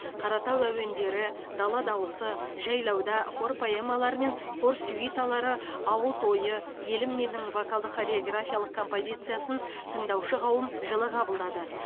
қаратау әуендері дала дауысы жайлауда хор поэмалары мен хор сюиталары ауыл тойы елім менің вокалдық хореографиялық композициясын тыңдаушы қауым жылы қабылдады